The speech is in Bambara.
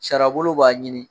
Sariya bolo b'a ɲini